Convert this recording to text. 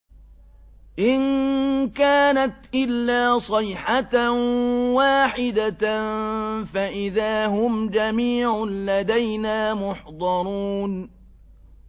إِن كَانَتْ إِلَّا صَيْحَةً وَاحِدَةً فَإِذَا هُمْ جَمِيعٌ لَّدَيْنَا مُحْضَرُونَ